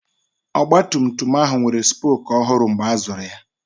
Ọgbatumtum ahụ nwere spoku ọhụrụ mgbe a zụrụ ya.